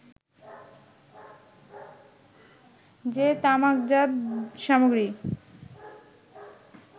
যে তামাকজাত সামগ্রী